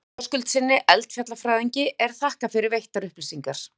Ármanni Höskuldssyni, eldfjallafræðingi, er þakkað fyrir veittar upplýsingar.